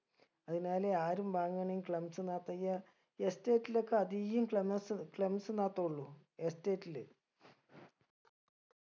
അതിനാലെ ആരും വാങ്ങണെ clumps നാത്ത് ഇയ estate ലൊക്കെ അതീകും clumas clumps നാത്തുള്ളു estate ല്